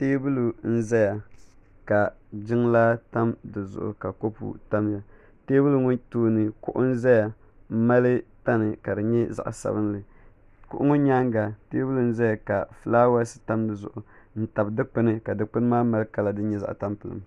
teebuli nim ʒɛya ka jiŋlaa tam dizuɣu ka kopu tamya teebuli ŋɔ tooni kuɣu n ʒɛya n mali tani ka di nyɛ zaɣ sabinli kuɣu ŋɔ nyaanga teebuli n ʒɛya ka fulaawes tam dizuɣu n tabi dikpuni ka dikpuni maa mali kala din nyɛ zaɣ tampilim